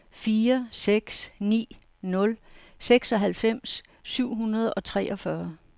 fire seks ni nul seksoghalvfems syv hundrede og treogfyrre